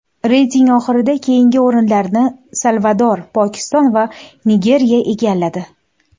Reyting oxirida keyingi o‘rinlarni Salvador, Pokiston va Nigeriya egalladi.